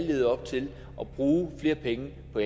levet op til at bruge flere penge på